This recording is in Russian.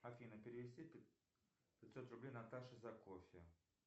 афина перевести пятьсот рублей наташе за кофе